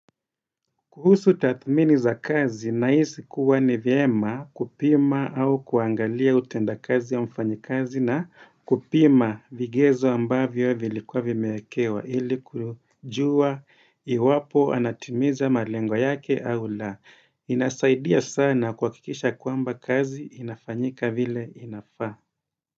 Kuhusu tathmini za kazi nahisi kuwa ni vyema kupima au kuangalia utenda kazi ya mfanyi kazi na kupima vigezo ambavyo vilikuwa vimewekewa ili kujua iwapo anatimiza malengo yake au la. Inasaidia sana kuhakikisha kwamba kazi inafanyika vile inafaa.